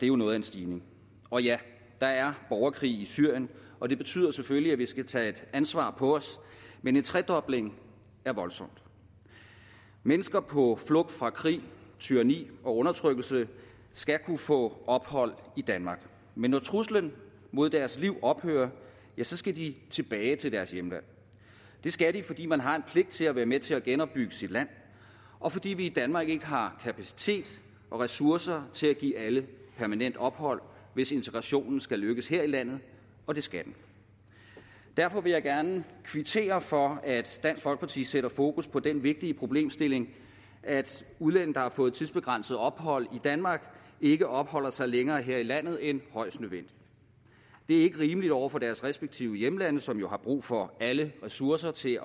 jo noget af en stigning og ja der er borgerkrig i syrien og det betyder selvfølgelig at vi skal tage et ansvar på os men en tredobling er voldsomt mennesker på flugt fra krig tyranni og undertrykkelse skal kunne få ophold i danmark men når truslen mod deres liv ophører skal de tilbage til deres hjemland det skal de fordi man har en pligt til at være med til at genopbygge sit land og fordi vi i danmark ikke har kapacitet og ressourcer til at give alle permanent ophold hvis integrationen skal lykkes her i landet og det skal den derfor vil jeg gerne kvittere for at dansk folkeparti sætter fokus på den vigtige problemstilling at udlændinge der har fået tidsbegrænset ophold i danmark ikke opholder sig længere her i landet end højst nødvendigt det er ikke rimeligt over for deres respektive hjemlande som jo har brug for alle ressourcer til